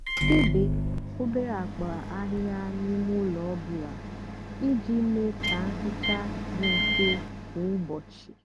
débé obere ákpa áhịhịa n'ímé úló ọ bụlà íjì mée kà nhicha dị mfè kwá úbọchị.